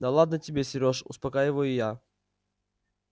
да ладно тебе сереж успокаиваю я